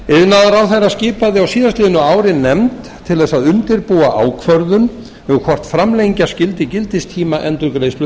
iðnaðarráðherra skipaði á síðasta ári nefnd til að undirbúa ákvörðun um hvort framlengja skyldi gildistíma endurgreiðslu